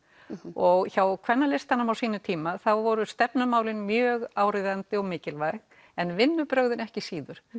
og hjá Kvennalistanum á sínum tíma voru stefnumálin mjög áríðandi og mikilvæg en vinnubrögðin ekki síður